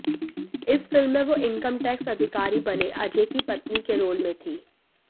इस फ़िल्म में वो इनकम टैक्स अधिकारी बने अजय की पत्नी के रोल में थीं